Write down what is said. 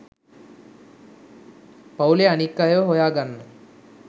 පවුලෙ අනිත් අයව හොයා ගන්න